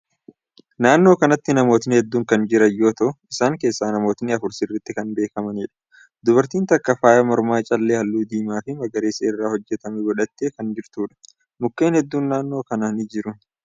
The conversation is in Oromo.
Naannoo kanatti namootni hedduun kan jiran yoo ta'u, isaan keessaa namootni afur sirritti kan beekkamaniidha. Dubartiin takka faaya mormaa callee haalluu diimaa fi magariisa irraa hojjatamee godhattee kan jirtuudha. Mukkeen hedduun naannoo kan ni jira.